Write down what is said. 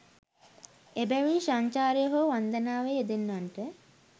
එබැවින් සංචාරයේ හෝ වන්දනාවේ යෙදෙන්නන්ට